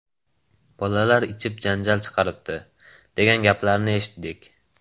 Bolalar ichib janjal chiqaribdi, degan gaplarni eshitdik.